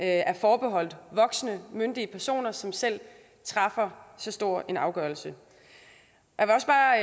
er forbeholdt voksne myndige personer som selv træffer så stor en afgørelse